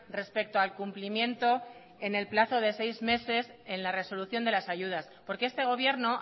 respecto al cumplimiento en el plazo de seis meses en la resolución de las ayudas porque este gobierno